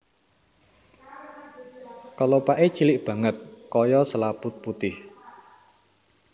Kelopaké cilik banget kaya selaput putih